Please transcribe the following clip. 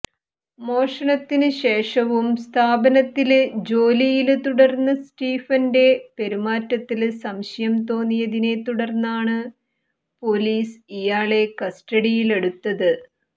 മോഷണത്തിന് ശേഷവും സ്ഥാപനത്തില് ജോലിയില് തുടര്ന്ന സ്റ്റീഫന്റെ പെരുമാറ്റത്തില് സംശയം തോന്നിയതിനെ തുടര്ന്നാണ് പോലീസ് ഇയാളെ കസ്റ്റഡിയില് എടുത്തത്